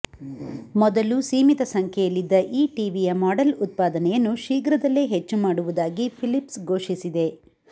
ಮೊದಲು ಸೀಮಿತ ಸಂಖ್ಯೆಯಲ್ಲಿದ್ದ ಈ ಟಿವಿಯ ಮಾಡೆಲ್ ಉತ್ಪಾದನೆಯನ್ನು ಶೀಘ್ರದಲ್ಲೇ ಹೆಚ್ಚು ಮಾಡುವುದಾಗಿ ಫಿಲಿಪ್ಸ್ ಘೋಷಿಸಿದೆ